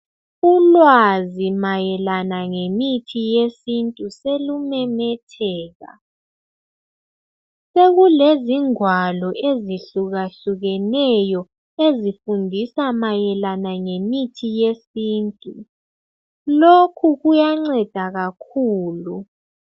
Ulwazi mayelana ngemithi yesintu solumemetheka, sekulengwalo ezifundisa ngemithi yesintu lokhu kuyancedisa kakhulu.